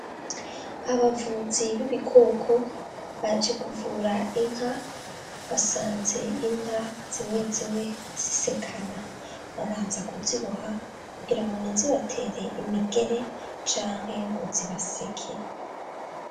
Abavuzi b'ibikoko baje kuvura inka, basanze inka zimwe zimwe zisekana, babanza kuziboha kugirango ntizibatere imigere canke ngo zibaseke.